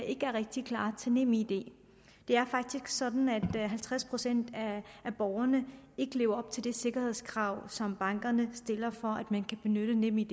ikke rigtig er klar til nemid det er faktisk sådan at halvtreds procent af borgerne ikke lever op til det sikkerhedskrav som bankerne stiller for at man kan benytte nemid